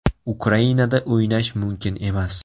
Ukrainada o‘ynash mumkin emas?